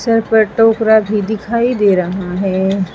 Sir पर टोकरा भी दिखाई दे रहा है।